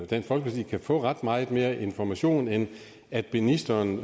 dansk folkeparti kan få ret meget mere information end at ministeren